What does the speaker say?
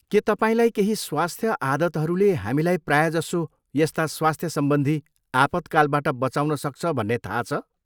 के तपाईँलाई केही स्वस्थ आदतहरूले हामीलाई प्रायजसो यस्ता स्वस्थ सम्बन्धी आपतकालबाट बँचाउन सक्छ भन्ने थाहा छ?